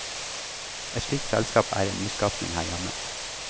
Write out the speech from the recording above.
Et slikt selskap er en nyskapning her hjemme.